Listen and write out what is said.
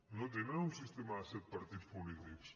no tenen un sistema de set partits polítics